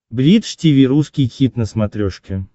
бридж тиви русский хит на смотрешке